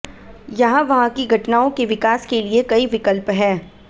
यहाँ वहाँ की घटनाओं के विकास के लिए कई विकल्प हैं